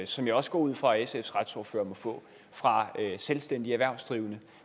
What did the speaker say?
som jeg også går ud fra at sfs retsordfører må få fra selvstændige erhvervsdrivende